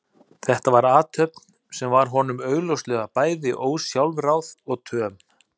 Þetta var athöfn sem var honum augljóslega bæði ósjálfráð og töm.